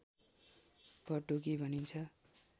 पटुकी भनिन्छ